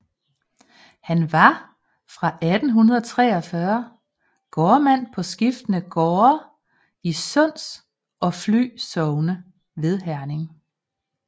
Han var fra 1843 gårdmand på skiftende gårde i Sunds og Fly Sogne ved Herning